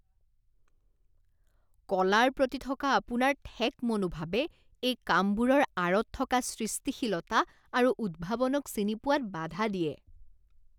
কলাৰ প্ৰতি থকা আপোনাৰ ঠেক মনোভাৱে এই কামবোৰৰ আঁৰত থকা সৃষ্টিশীলতা আৰু উদ্ভাৱনক চিনি পোৱাত বাধা দিয়ে।